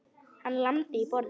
Hann lamdi í borðið.